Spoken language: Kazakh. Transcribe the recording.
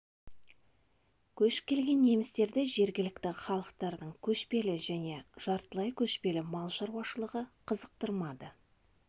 көшіп келген немістерді жергілікті халықтардың көшпелі және жартылай көшпелі мал шаруашылығы қызықтырмады